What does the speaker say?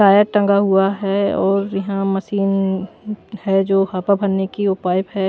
Tyre टंगा हुआ है और यहां मशीन है जो हवा भरने की वो पाइप है।